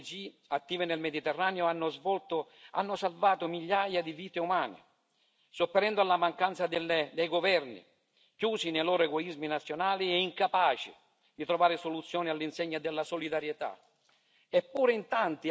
In questi ultimi anni, le ONG attive nel Mediterraneo hanno salvato migliaia di vite umane, sopperendo alle mancanze dei governi, chiusi nei loro egoismi nazionali e incapaci di trovare soluzioni all'insegna della solidarietà.